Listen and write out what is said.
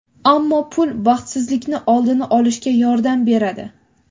ammo pul baxtsizlikni oldini olishga yordam beradi.